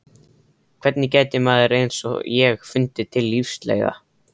Hvernig gæti maður eins og ég fundið til lífsleiða?